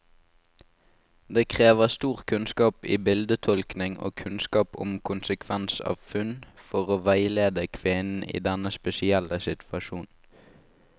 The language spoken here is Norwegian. Det krever stor kunnskap i bildetolkning og kunnskap om konsekvens av funn, for å veilede kvinnen i denne spesielle situasjonen.